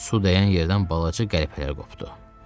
Su dəyən yerdən balaca qəlpələr qopdu.